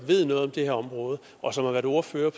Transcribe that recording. ved noget om det her område og som har været ordfører